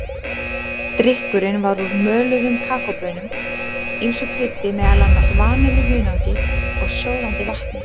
Drykkurinn var úr möluðum kakóbaunum, ýmsu kryddi, meðal annars vanillu, hunangi og sjóðandi vatni.